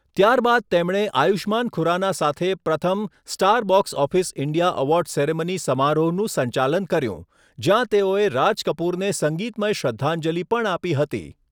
ત્યારબાદ તેમણે આયુષ્માન ખુરાના સાથે પ્રથમ 'Star Box Office India award ceremony' સમારોહનું સંચાલન કર્યું, જ્યાં તેઓએ રાજ કપૂરને સંગીતમય શ્રદ્ધાંજલિ પણ આપી હતી.